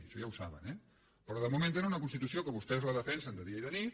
això ja ho saben eh però de moment tenen una constitució que vostès la defensen de dia i de nit